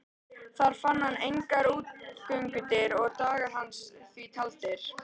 Þar fann hann engar útgöngudyr og dagar hans því taldir.